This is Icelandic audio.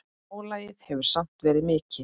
Álagið hefur samt verið mikið.